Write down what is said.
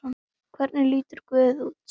Hvernig lítur guð út?